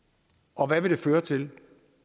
og hvad vil det føre til